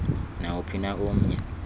nawuphi na omnye